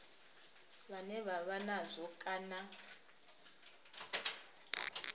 vhane vha vha nazwo kana